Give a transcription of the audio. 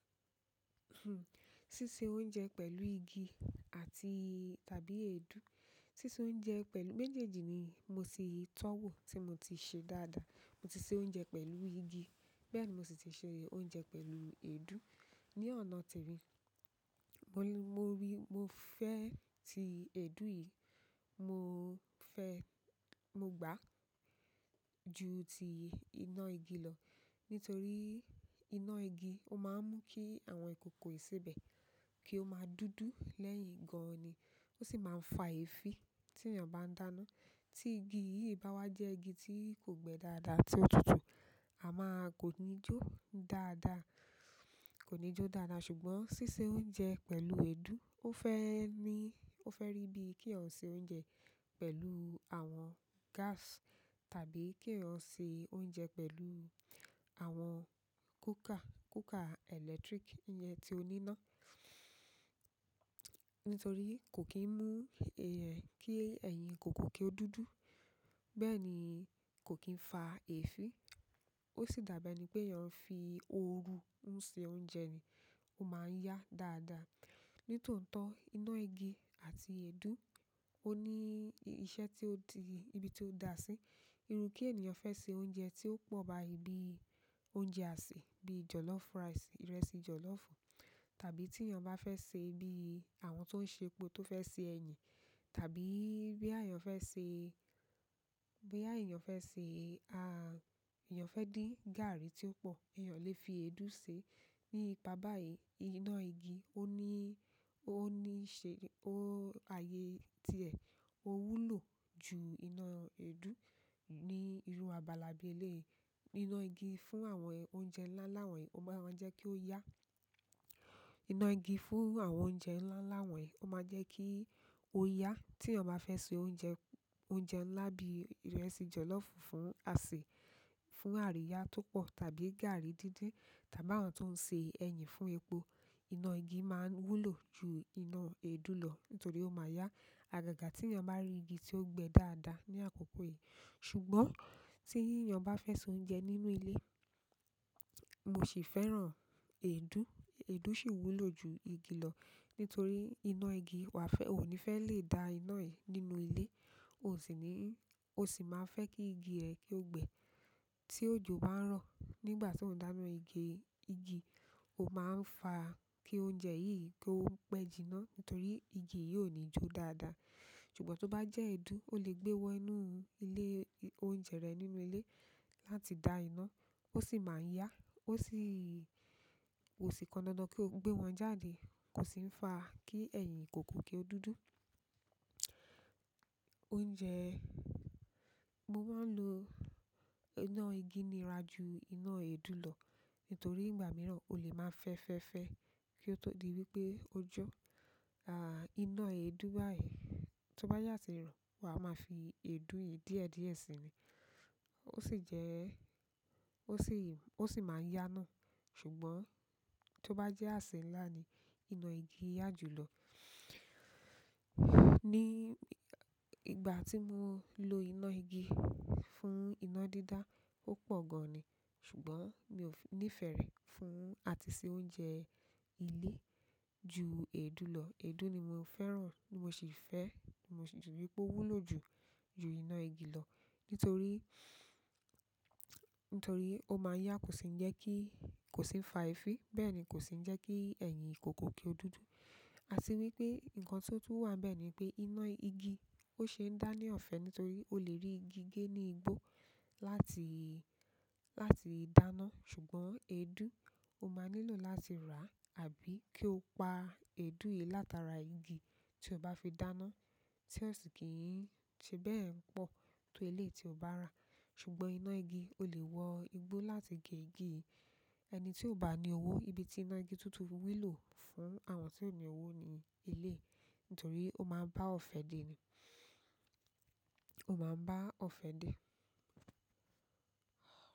Sísé oúnjẹ pẹ̀lú igi àti tàbí èédú. Sísé oúnjẹ pẹ̀lú-- méjèèjì ni mo sì ti tọ́wò tí mo ti ṣe dáadáa. Mo ti se oúnjẹ pẹ̀lú igi, bẹ́ẹ̀ ni mo sì ti se oúnjẹ pẹ̀lú èédú ní ọ̀nà tí rí. Mo ri, mo fẹ́ ti èédú yìí, mo fẹ́, mo gbà ju ti iná igi lọ, nítorí iná igi ó máa ń mú kí àwọn ìkòkò ìsebẹ̀ kí ó máa dúdú lẹ́yìn gan-an ni. Ó sì máa ń fa èéfín tí ènìyàn bá ń dáná. Tí igi yìí bá wá jẹ́ igi tí kò gbẹ dáadáa tí ó tutù, a máa kò ní jó dáadáa, kò ní jó dáadáa. Ṣùgbọ́n ṣíṣe oúnjẹ pẹ̀lú èédú ó fẹ́ ní, ó fẹ́ rí bí kí èèyàn ṣe oúnjẹ pẹ̀lú àwọn gas tàbí kí èèyàn ṣe oúnjẹ pẹ̀lú àwọn cooker, cooker electric, ìyẹn tí ó ní iná. Nítorí kò kín mú è ẹn kí ẹ̀yin kòkó kí ó dúdú. Bẹ́ẹ̀ ni kò kín fa èéfín. Ó sì dàbí ẹni pé èèyàn ń fi òòru ń ṣe oúnjẹ ni, ó máa ń yá dáadáa. Nítóótó iná igi àti èédú, ó ní iṣẹ́ tí ó ti-- ibi tí ó da sí. Irú kí ènìyàn fẹ́ se oúnjẹ tí ó pọ̀ báyìí bi oúnjẹ àsè bíi jọ̀lọ́fù rice, ìrẹsì jọ̀lọ́fùù tàbí tí èèyàn bá fẹ́ se bí àwọn tó ń ṣe epo tó fẹ́ se ẹyin tàbí bóyá èèyàn fẹ́ ṣe, bóyá èèyàn fẹ́ ṣe a-- èèyàn fẹ́ dín gààrí tí ó pọ̀, èèyàn lè fi èédú ṣe. Nípa báyìí iná igi ó ní, ó ní ṣe, ó-- ààyè tí ẹ̀ ó wúlò ju iná èédú ní irú abala bí eléyìí. Iná igi fún àwọn oúnjẹ ńlá ńlá wọ̀nyí ó máa máa ń jẹ́ kí ó yá. Iná igi fún àwọn oúnjẹ ńlá ńlá wọ̀nyí ó máa ń jẹ́ kí ó yá. Tí èèyàn bá fẹ́ se oúnjẹ, oúnjẹ ńlá bí ìrẹsì jọ̀lọ́fùù fún àsè, fún àríyá tó pọ̀ tàbí gààrí dídín tàbí àwọn tó ń ṣe ẹyin fún epo, iná igi máa n wúlò ju iná èédú lọ nítorí ó máa yá. Àgàgà tí èèyàn bá rí igi tí ó gbẹ dáadáa ní àkókò yìí. Ṣùgbọ́n tí èèyàn bá fẹ́ se oúnjẹ nínú ilé, mo sì fẹ́ràn èédú. Èédú sì wúlò ju igi lọ nítorí iná igi wà fẹ́, o ò ní fẹ́ lè da iná yìí nínú ilé. O osì ní, o sì máa fẹ́ kí igi rẹ kí ó gbẹ. Tí òjò bá ń rọ̀ nígbà tí ó ń dáná igi, igi ó máa ń fa kí oúnjẹ yìí kí ó pẹ́ jiná nítorí igi yìí ò ní jó dáadáa. Ṣùgbọ́n tó bá jẹ́ èédú, o lè gbé wọ inú ilé oúnjẹ rẹ nínú ilé láti da iná. Ó sì máa ń yá, ó sì-- kò sì pọndandan kí o gbé wọn jáde. Kò sì ń fa kí ẹ̀yin kòkó kí ó dúdú. Oúnjẹ, mo máa ń lo iná igi nira ju iná èédú lọ nítorí ìgbà mìíràn o lè máa fẹ́fẹ́fẹ́ kí ó tó di wípé ó jó. À, iná èédú báyìí tó bá sà tí ràn, wa máa fi èédú yìí díẹ̀díẹ̀ sínú. Ó sì jẹ́, ó sì, ó sì máa ń yá náà. Ṣùgbọ́n tó bá jẹ́ àsè ńlá ni, iná igi yá jù lọ. Ní ìgbà tí mo lo iná igi fún iná dídá ó pọ̀ gan-an ni. Ṣùgbọ́n mi ò nífẹ̀ẹ́ fún àti ṣe oúnjẹ ilé ju èédú lọ, èédú ni mo fẹ́ràn ni mosì fẹ, ni mo sì rí wípé ó wúlò ju ju iná igi lọ nítorí, nítorí ó máa yá kò sì ńii jẹ́ kí, kò sì ńii fa èéfín. Bẹ́ẹ̀ ni kò sì ń jẹ́ kí ẹ̀yin ìkòkó kí ó dúdú. A tì wípé ǹkan tó tún wà n bẹ̀ ni pé iná igi ó ṣe ń dá ní ọ̀fẹ́ nítorí o lè rí igi gé ní igbó láti, láti dáná. Ṣùgbọ́n èédú ó máa nílò láti rà àbí kí o pa èédú yìí látara igi tí o bá fi dáná tí ó sì kì í n ṣe bẹ́ẹ̀ pọ̀ tó eléyìí tí o bá rà. Ṣùgbọ́n iná igi o lè wọ igbó láti gé igi. Ẹni tí ò bá ní owó ibi tí iná igi tútùn fi wúlò fún àwọn tí ò ní owó ní eléyìí nítorí ó máa ń bá ọ̀fẹ́ dè ni. Ó máa ń bá ọ̀fẹ́ dè.